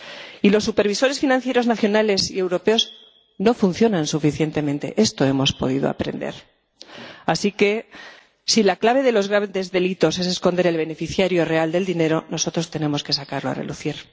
Y los supervisores financieros nacionales y europeos no funcionan suficientemente —esto hemos podido aprender—. Así que, si la clave de los graves delitos es esconder el beneficiario real del dinero, nosotros tenemos que sacarlo a relucir.